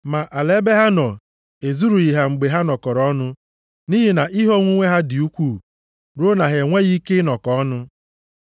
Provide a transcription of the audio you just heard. Ma ala ebe ha nọ ezurughị ha mgbe ha nọkọrọ ọnụ nʼihi na ihe onwunwe ha dị ukwuu ruo na ha enweghị ike ịnọkọ ọnụ.